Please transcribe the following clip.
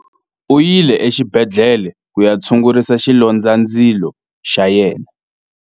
U yile exibedhlele ku ya tshungurisa xilondzandzilo xa yena.